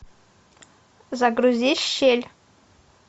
загрузи щель